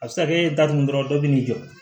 A bɛ se ka kɛ e ye datugu dɔrɔn dɔ bɛ n'i jɔ